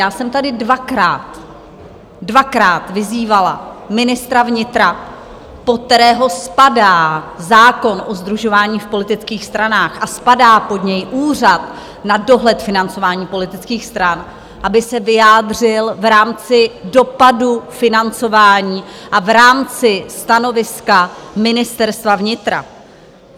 Já jsem tady dvakrát, dvakrát vyzývala ministra vnitra, pod kterého spadá zákon o sdružování v politických stranách a spadá pod něj Úřad na dohled financování politických stran, aby se vyjádřil v rámci dopadu financování a v rámci stanoviska Ministerstva vnitra.